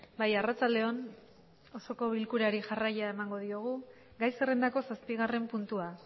bai arratsaldeon osoko bilkurari jarraia emango diogu gai zerrendako zazpigarren puntua